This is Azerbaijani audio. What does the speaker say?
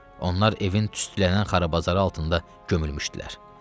Onlar evin tüstülənən xarabazarı altında gömülmüşdülər.